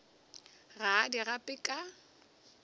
ga a di gape ka